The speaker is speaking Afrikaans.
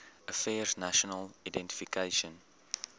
affairs national identification